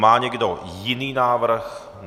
Má někdo jiný návrh?